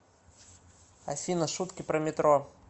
афина шутки про метро